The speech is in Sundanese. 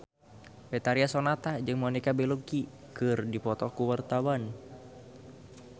Betharia Sonata jeung Monica Belluci keur dipoto ku wartawan